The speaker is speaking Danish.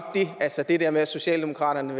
det altså det der med at socialdemokraterne